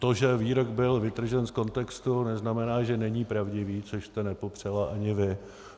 To, že výrok byl vytržen z kontextu, neznamená, že není pravdivý, což jste nepopřela ani vy.